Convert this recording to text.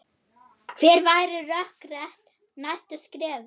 Hver væru rökrétt næstu skref?